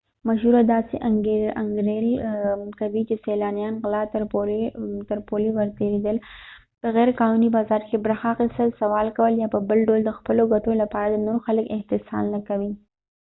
مشوره داسې انګیرل کوي چې سیلانیان غلا تر پولې ورتېرېدل په غیرقانوني بازار کې برخه اخیستل سوال کول یا په بل ډول د خپلو ګټو لپاره نور خلک استحصال نه کوي